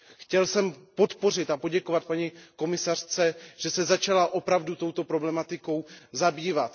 Chtěl jsem podpořit a poděkovat paní komisařce, že se začala opravdu touto problematikou zabývat.